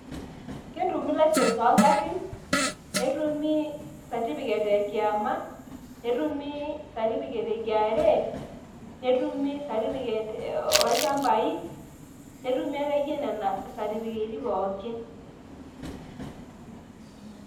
Ketumi license oo ngarrin, netumi certificate ekiama, netumi certifucate e KRA, netumi certificate oolchambai, netumi akeyie nena satifiketi pooki.